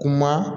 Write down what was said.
Kuma